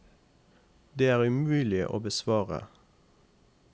Det er umulig å besvare.